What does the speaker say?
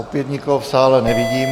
Opět nikoho v sále nevidím.